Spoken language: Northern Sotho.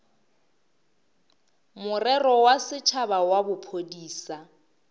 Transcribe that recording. morero wa setšhaba wa bophodisa